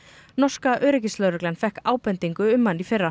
norska öryggislögreglan fékk ábendingu um hann í fyrra